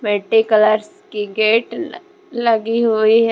Colours की gate लगी हुई है।